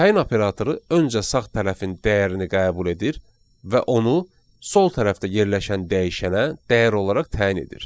Təyin operatoru öncə sağ tərəfin dəyərini qəbul edir və onu sol tərəfdə yerləşən dəyişənə dəyər olaraq təyin edir.